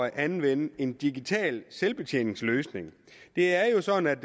at anvende en digital selvbetjeningsløsning det er jo sådan